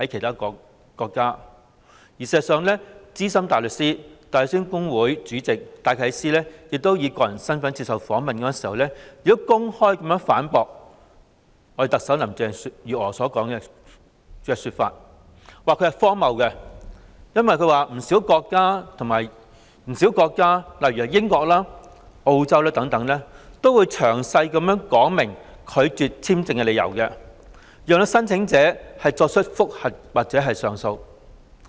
事實上，資深大律師、香港大律師公會主席戴啟思以個人身份接受訪問時，公開反駁特首林鄭月娥，指其說法荒謬，因為不少國家如英國、澳洲等，都會詳細說明拒絕簽證的理由，讓申請者提出覆核或上訴。